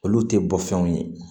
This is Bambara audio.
Olu tɛ bɔ fɛnw ye